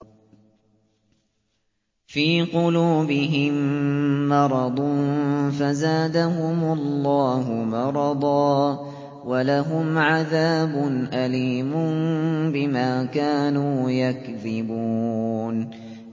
فِي قُلُوبِهِم مَّرَضٌ فَزَادَهُمُ اللَّهُ مَرَضًا ۖ وَلَهُمْ عَذَابٌ أَلِيمٌ بِمَا كَانُوا يَكْذِبُونَ